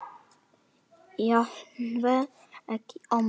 Jafnvel ekki ömmur.